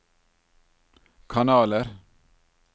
kanaler